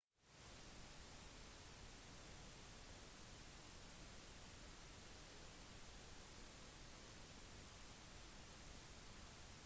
kun dyr har hjerne selv om faktisk ikke alle dyr har det f.eks. maneter har ikke hjerne